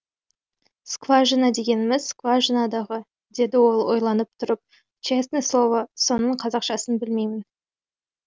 скважина дегеніміз скважина дағы деді ол ойланып тұрып чесный слово соның қазақшасын білмеймін